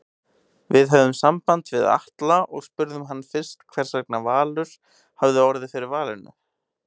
Við höfðum samband við Atla og spurðum hann fyrst hversvegna Valur hafi orðið fyrir valinu?